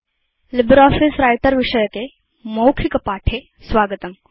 LibreOffice Writer विषयके spoken tutorialमध्ये स्वागतम्